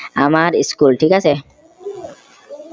আমাৰ school থিক আছে